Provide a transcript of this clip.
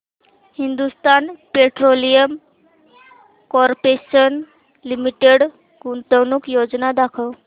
Hindustan petroleum corporation limited गुंतवणूक योजना दाखव